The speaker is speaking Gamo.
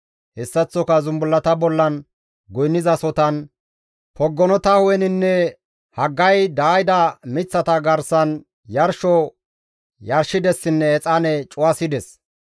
Hessaththoka zumbullata bollan goynnizasotan, poggonota hu7eninne haggay daayida miththata garsan yarsho yarshidessinne exaane cuwasides.